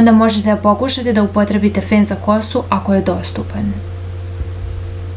onda možete da pokušate da upotrebite fen za kosu ako je dostupan